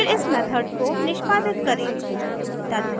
फिर इस मेथड को निष्पादित करें